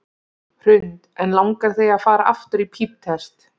Hrund: En langar þig að fara aftur í píptest?